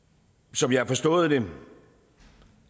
som jeg har forstået det